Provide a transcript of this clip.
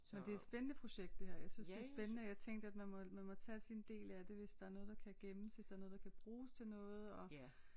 Og det er et spændende projekt det her jeg synes det er spændende jeg tænkte at man må man må tage sin del af det hvis der er noget der kan gemmes hvis der er noget der kan bruges til noget og